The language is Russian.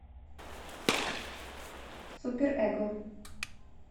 супер эго